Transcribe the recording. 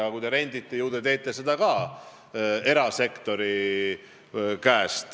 Aga kui te rendite, siis ju te rendite ka erasektori käest.